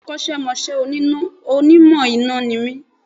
Bẹ́ẹ̀ni Akọ́sẹ́mọsẹ́ Onímọ̀ iná ni mí